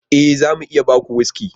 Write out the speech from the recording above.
E! za mu iya ba ku wuski.